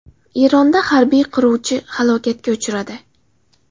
Eronda harbiy qiruvchi halokatga uchradi.